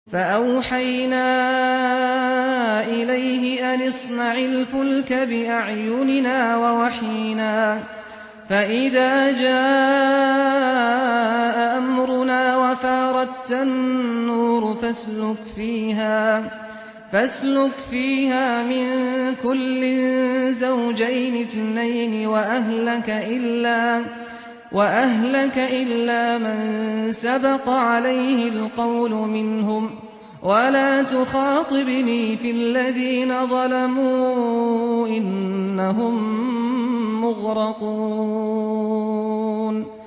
فَأَوْحَيْنَا إِلَيْهِ أَنِ اصْنَعِ الْفُلْكَ بِأَعْيُنِنَا وَوَحْيِنَا فَإِذَا جَاءَ أَمْرُنَا وَفَارَ التَّنُّورُ ۙ فَاسْلُكْ فِيهَا مِن كُلٍّ زَوْجَيْنِ اثْنَيْنِ وَأَهْلَكَ إِلَّا مَن سَبَقَ عَلَيْهِ الْقَوْلُ مِنْهُمْ ۖ وَلَا تُخَاطِبْنِي فِي الَّذِينَ ظَلَمُوا ۖ إِنَّهُم مُّغْرَقُونَ